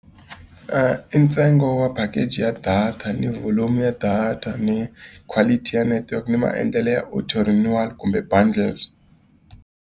I ntsengo wa package ya data, ni volume ya data, ni quality ya network, ni maendlelo ya auto renewal kumbe bundles.